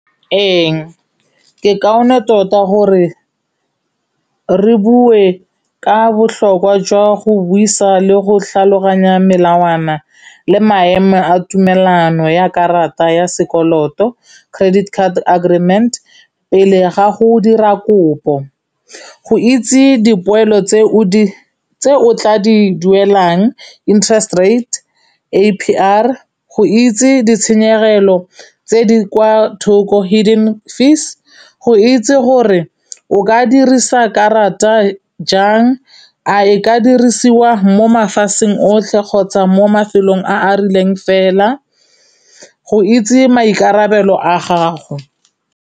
Ee ke kaone tota gore re bue ka botlhokwa jwa go buisa le go tlhaloganya melawana le maemo a tumelano ya karata ya sekoloto. Credit card agreement, pele ga go dira kopo. Go itse dipoelo tse o di tse o tla di duelang interest rate A_P_R, go itse ditshenyegelo tse di kwa thoko hidden fees, go itse gore o ka dirisa karata jang, a e ka dirisiwa mo mafatsheng otlhe kgotsa mo mafelong a a rileng fela, go itse maikarabelo a gago.